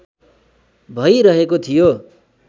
भै रहेको थियो